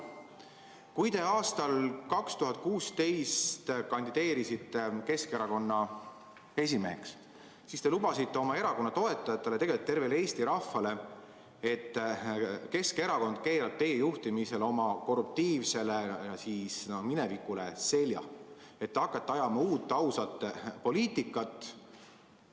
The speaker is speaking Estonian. Kui te aastal 2016 kandideerisite Keskerakonna esimeheks, siis te lubasite oma erakonna toetajatele ja tegelikult tervele Eesti rahvale, et Keskerakond keerab teie juhtimisel oma korruptiivsele minevikule selja, et te hakkate ajama uut, ausat poliitikat.